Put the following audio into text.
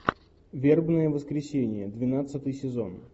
вербное воскресенье двенадцатый сезон